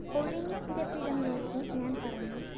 ഒഴിഞ്ഞ ഇരിപ്പിടം നോക്കി ഞാന്‍ പറഞ്ഞു